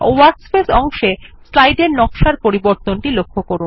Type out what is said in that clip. workspace অংশে স্লাইডের নকশার পরিবর্তনটি লক্ষ্য করুন